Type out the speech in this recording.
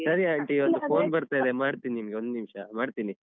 ಸರಿ aunty ಒಂದು phone ಬರ್ತಾ ಇದೆ ಮಾಡ್ತೀನ್ ನಿಮ್ಗೆ ಒಂದ್ನಿಮಿಷ ಮಾಡ್ತೀನಿ.